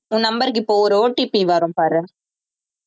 உன் number க்கு இப்போ ஒரு OTP வரும் பாரு